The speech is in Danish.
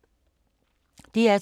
DR2